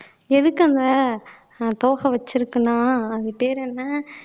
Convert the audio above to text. எதுக்குங்க தோகை வச்சிருக்குனா அது பேரு என்ன